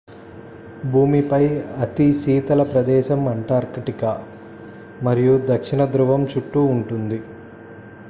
భూమిపై అతి శీతల ప్రదేశం అంటార్క్టికా మరియు దక్షిణ ధృవం చుట్టూ ఉంటుంది